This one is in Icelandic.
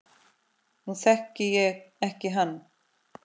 Nú þekki ég ekki hann